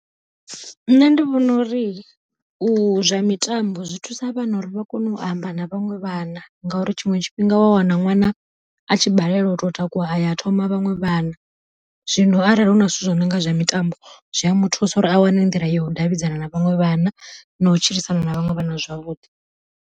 Nṋe ndi vhona uri u zwa mitambo zwi thusa vhana uri vha kone u amba na vhaṅwe vhana, ngauri tshiṅwe tshifhinga u wa wana ṅwana a tshi balelwa u to takuwa aya thoma vhaṅwe vhana. Zwino arali huna zwithu zwo nonga zwa mitambo zwia muthusa uri a wane nḓila ya u davhidzana na vhaṅwe vhana na u tshilisana na vhaṅwe vhana zwavhuḓi.